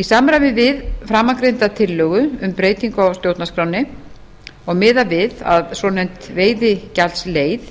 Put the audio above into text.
í samræmi við framangreinda tillögu um breytingu á stjórnarskránni og miðað við að svonefnd veiðigjaldsleið